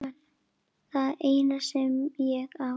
Það eina sem ég á.